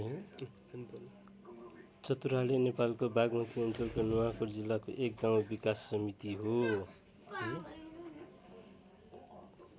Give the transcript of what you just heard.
चतुराले नेपालको बागमती अञ्चलको नुवाकोट जिल्लाको एक गाउँ विकास समिति हो।